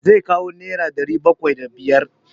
Zai kawo nera ɗari bakwai da biyar.